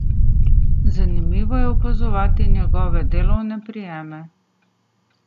Zanimivo je opazovati njegove delovne prijeme.